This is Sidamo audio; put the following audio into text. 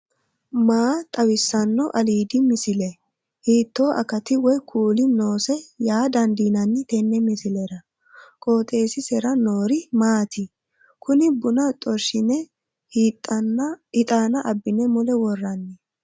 maa xawissanno aliidi misile ? hiitto akati woy kuuli noose yaa dandiinanni tenne misilera? qooxeessisera noori maati? kuni buna xorshshine hixaana abbine mule worranni